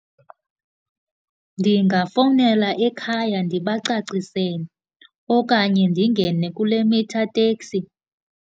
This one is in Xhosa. Ndingafowunela ekhaya ndibacacisele okanye ndingene kule meter taxi.